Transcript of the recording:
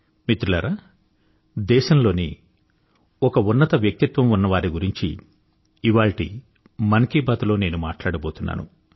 మిత్రులారా దేశంలోని ఒక ఉన్నత వ్యక్తిత్వం ఉన్న వారి గురించి కూడా ఇవాళ్టి మన్ కీ బాత్ లో నేను మాట్లాడబోతున్నాను